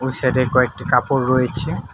সাইডে কয়েকটি কাপড় রয়েছে।